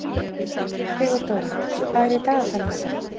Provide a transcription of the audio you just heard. Sigurdóra, hvað er í dagatalinu í dag?